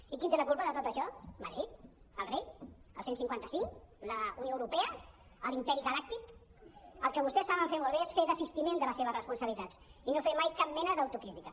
i qui en té la culpa de tot això madrid el rei el cent i cinquanta cinc la unió europea l’im·peri galàctic el que vostès saben fer molt bé és fer desistiment de les seves respon·sabilitats i no fer mai cap mena d’autocrítica